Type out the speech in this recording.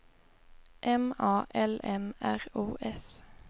M A L M R O S